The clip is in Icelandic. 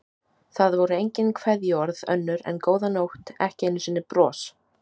Það voru engin kveðjuorð önnur en góða nótt, ekki einu sinni bros.